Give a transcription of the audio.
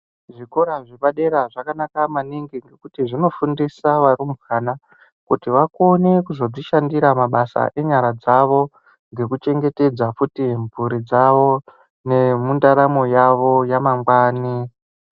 Zvikora zvepadera zvakanaka maningi, ngekuti zvinofundisa varumbwana, kuti vakone kuzodzishandira mabasa enyara dzavo ngekuchengetedza futi mphuri dzavo, nemundaramo yavo yamangwani.